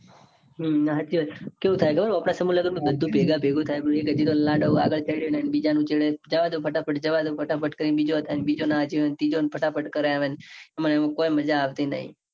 હમ સાચી વાત કેઉં થાય ખબર છે. સમૂહ લગન માં ભેગા ભેગું થાય. લાડો વાળવા જઈએ ન બીજા ન છેડે જવા દો. ફટાફટ જવા દો. ફટાફટ કરીને બીજો જાય બીજો ના જોયો હોય ન ત્રીજો ફટાફટ કરી ન આવેન એમાં કઈ મજા આવતી નાઈ.